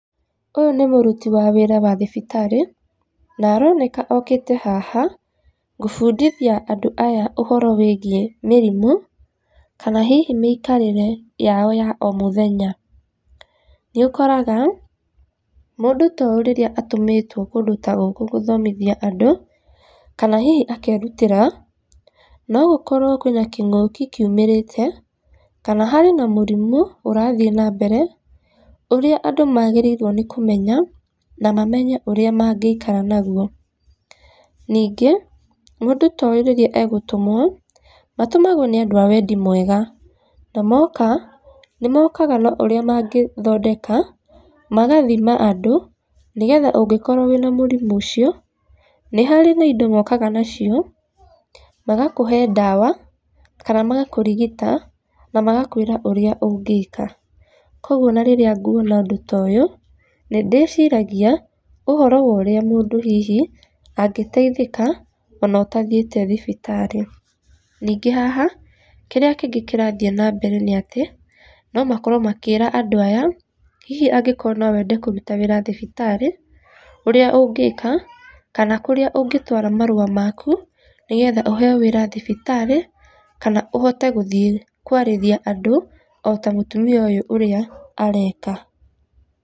Ũyũ nĩ mũruti wa wĩra wa thibitarĩ, na aroneka okĩte haha, gũbundithia andũ aya ũhoro wĩgiĩ mĩrimũ, kana hihi mĩikarĩre yao ya o mũthenya. Nĩ ũkoraga, mũndũ ta ũyũ rĩrĩa atũmĩtwo kũndũ ta gũkũ gũthomithia andũ, kana hihi akerutĩra, no gũkorwo kwĩna kĩngũki kiumĩrĩte, kana harĩ na mũrimũ ũrathiĩ na mbere, ũrĩa andũ magĩrĩirwo nĩ kũmenya, na mamenye ũrĩa mangĩikara naguo. Ningĩ, mũndũ ta ũyũ rĩrĩa agũtũmwo, matũmagwo nĩ andũ a wendi mwega, na moka nĩ mokaga na ũrĩa mangĩthondeka, magathima andũ, nĩgetha ũngĩkorwo wĩna mũrimũ ũcio, nĩ harĩ na indo mokaga nacio, magakũhe ndawa, kana magakũrigita, na magakwĩra ũrĩa ũngĩka. Koguo ona rĩrĩa nguona ũndũ ta ũyũ, nĩ ndĩciragia ũhoro wa ũrĩa mũndũ hihi, angĩteithĩka, ona ũtathiĩte thibitarĩ. Ningĩ haha, kĩrĩa kĩngĩ kĩrathiĩ na mbere nĩ atĩ, no makorwo makĩra andũ aya, hihi angĩkorwo no wende kũruta wĩra thibitarĩ, ũrĩa ũngĩka, kana kũrĩa ũngĩtwara marũa maku, nĩgetha ũheo wĩra thibitarĩ, kana ũhote gũthiĩ kwarĩria andũ, o ta mũtumia ũyũ ũrĩa areka.